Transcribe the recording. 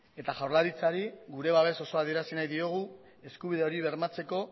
eta jaurlaritzari gure babes osoa adierazi nahi diogu eskubide hori bermatzeko